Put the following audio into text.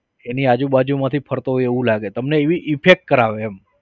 એની આજુ બાજુ માંથી ફરતો હોય એવું લાગે તમને એવી effect કરાવે એમ.